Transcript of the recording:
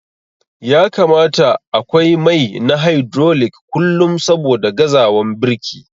Ya kamata akwai mai na hydrolic kullum saboda gazawan birki.